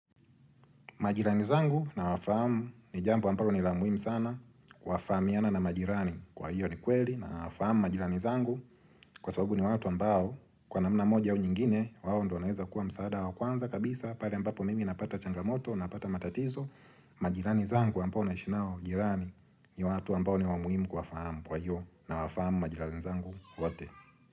Majirani zangu nawafamu ni jambo ambalo ni la muhimu sana, wafahamiana na majirani kwa hiyo ni kweli na wafahamu majirani zangu kwa sababu ni watu ambao kwa namna moja au nyingine wawo ndo wanaeza kuwa msaada wa kwanza kabisa pale ambapo mimi napata changamoto napata matatizo, majirani zangu ambao naishi nao jirani ni watu ambao ni wa muhimu kuwafahamu kwa hiyo nawafamu majirani zangu wote.